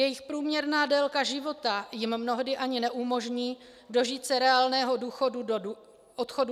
Jejich průměrná délka života jim mnohdy ani neumožní dožít se reálného odchodu do důchodu.